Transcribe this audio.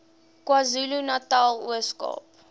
kwazulunatal ooskaap